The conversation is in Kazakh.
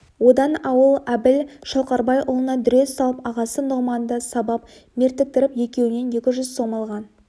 одан ауыл әбіл шалқарбайұлына дүре салып ағасы нұғманды сабап мертіктіріп екеуінен екі жүз сом алған